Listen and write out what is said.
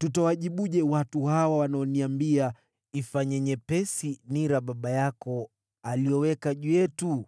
Tutawajibuje watu hawa wanaoniambia, ‘Ifanye nyepesi nira baba yako aliyoweka juu yetu?’ ”